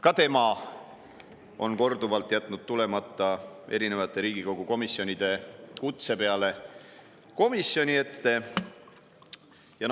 Ka tema on erinevate Riigikogu komisjonide kutse peale korduvalt jätnud komisjoni ette tulemata.